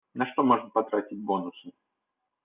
на что можно потратить бонусы